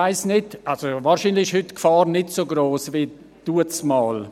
Wahrscheinlich ist die Gefahr heute nicht so gross wie damals.